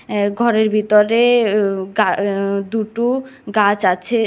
অ্যা ঘরের ভিতরে উ গা অ্যা দুটু গাছ আছে।